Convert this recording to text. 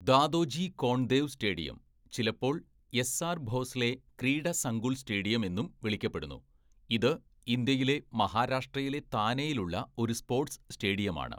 Dadoji Konddev stadium, ചിലപ്പോൾ S R Bhosale Krida Sankul stadium എന്നും വിളിക്കപ്പെടുന്നു. ഇത് ഇന്ത്യയിലെ മഹാരാഷ്ട്രയിലെ താനെയിലുള്ള ഒരു സ്പോർട്സ് സ്റ്റേഡിയമാണ്.